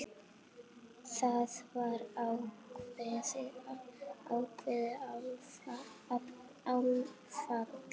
Það var ákveðið áfall.